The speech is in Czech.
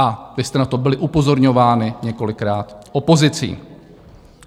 A vy jste na to byli upozorňováni několikrát opozicí.